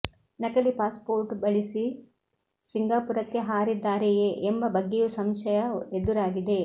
ನಕಲಿ passport ಬಳಿಸಿ ಸಿಂಗಾಪುರಕ್ಕೆ ಹಾರಿದ್ದಾರೆಯೇ ಎಂಬ ಬಗ್ಗೆಯೂ ಸಂಶಯ ಎದುರಾಗಿದೆ